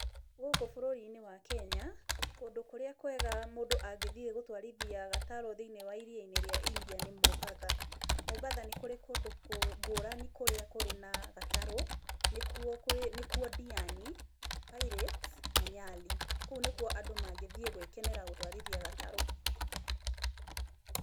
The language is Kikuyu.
Gũkũ bũrũri-inĩ wa Kenya, kũndũ kũrĩa kwega mũndũ angĩthiĩ gũtwarithia gatarũ thĩinĩ wa Iria-inĩ rĩa India nĩ Mombasa. Mombasa nĩ kũrĩ kũndũ ngũrani kũrĩa kũrĩ na gatarũ, nĩkuo Ndiani, Pirates, na Nyali, kũũ nĩ kuo andũ mangĩthiĩ gũĩkenera gũtwarithia gatarũ.